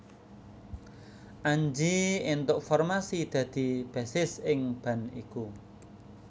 Anji éntuk formasi dadi bassis ing band iku